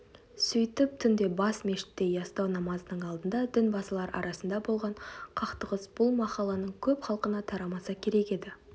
сөйтіп түнде бас мешітте ястау намазының алдында дінбасылар арасында болған қақтығыс бұл махалланың көп халқына тарамаса керек еді